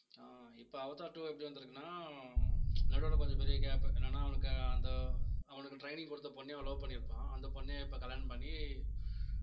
ஆஹ் இப்ப Avatar two எப்படி வந்திருக்குன்னா நடுவுல கொஞ்சம் பெரிய gap என்னன்னா அவனுக்கு அந்த அவனுக்கு training கொடுத்த பொண்ணையும் love பண்ணியிருப்பான் அந்த பொண்ணையும் இப்ப கல்யாணம் பண்ணி